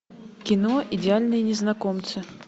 кино идеальные незнакомцы